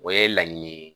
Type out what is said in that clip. O ye laɲini ye